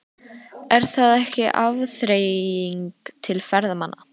Er það ekki afþreying til ferðamanna?